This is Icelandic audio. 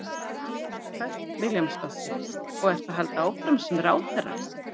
Hödd Vilhjálmsdóttir: Og ertu að halda áfram sem ráðherra?